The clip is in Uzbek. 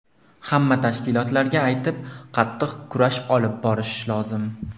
Hamma tashkilotlarga aytib, qattiq kurash olib borish lozim.